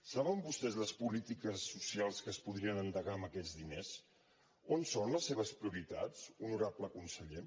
saben vostès les polítiques socials que es podrien endegar amb aquests diners on són les seves prioritats honorable conseller